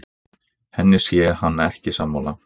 Henni sé hann ekki sammála